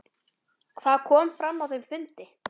Hvað kom fram á þeim fundi?